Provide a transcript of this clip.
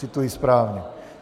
Cituji správně.